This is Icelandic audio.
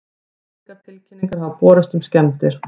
Engar tilkynningar hafa borist um skemmdir